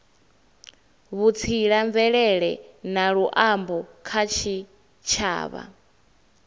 vhutsila mvelele na luambo kha tshitshavha